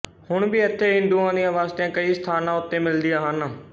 ਹੁਣ ਵੀ ਇੱਥੇ ਹਿੰਦੂਆਂ ਦੀਆਂ ਬਸਤੀਆਂ ਕਈ ਸਥਾਨਾਂ ਉੱਤੇ ਮਿਲਦੀਆਂ ਹਨ